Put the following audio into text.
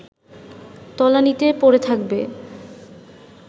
তলানিতে পড়ে থাকবে